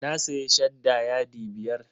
Ya sayi shadda yadi biyar.